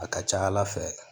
A ka ca ala fɛ